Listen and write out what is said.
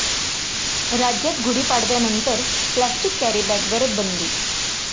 राज्यात गुढीपाडव्यानंतर प्लॅस्टिक कॅरीबॅगवर बंदी!